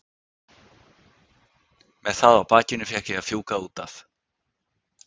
Með það á bakinu fékk ég að fjúka út af.